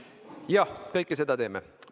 Jah, kõike seda me teeme.